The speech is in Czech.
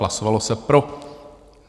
Hlasovalo se pro.